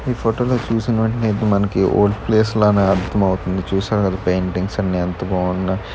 ఈ ఫోటోలో చూసిన వెంటనే అయితే మనకి ఓల్డ్ ప్లేస్ లానే అర్థమౌతుంది చూశారు కదా పెయింటింగ్స్ అన్నీ ఎంత బావుందో.